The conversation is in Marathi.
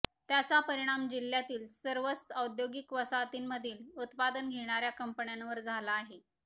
त्याचा परिणाम जिल्ह्यातील या सर्वच औद्योगिक वसाहतींमधील उत्पादन घेणाऱ्या कंपन्यावर झाला आहे